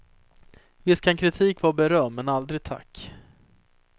Visst kan kritik kan vara beröm men aldrig tack.